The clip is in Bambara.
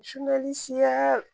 Sunali siya